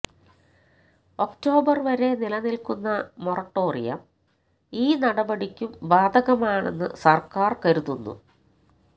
October വരെ നിലനില്ക്കുന്ന moratorium ഈ നടപടിക്കും ബാധകമാണെന്ന് സര്ക്കാര് കരുതുന്നു